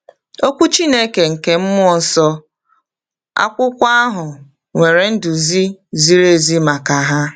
Okwu Chineke nke mmụọ nsọ, akwụkwọ ahụ, nwere nduzi ziri ezi maka ha.